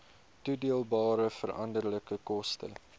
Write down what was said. toedeelbare veranderlike koste